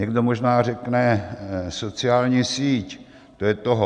Někdo možná řekne: sociální síť, to je toho.